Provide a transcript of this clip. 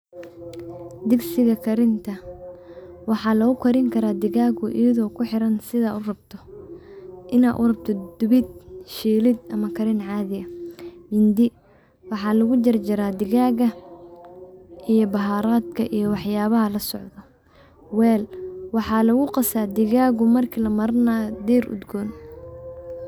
Digsiga karinta, waxa lugukarini digagu iyado kuxiran sidan urabto ina urabtid dubid, shiilid ama karin cadi aah, mindi waxa lugujarjara digaga iyo baharodka iyo waxayabaha loscodo, weel waxa laguqasa digaga marki lamarinayo diir udgoon.